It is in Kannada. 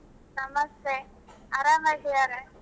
ನಮಸ್ತೆ ಆರಾಮ್ ಅದಿಯಾ.